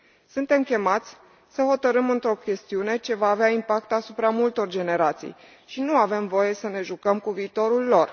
Suntem chemați să hotărâm într o chestiune ce va avea impact asupra multor generații și nu avem voie să ne jucăm cu viitorul lor.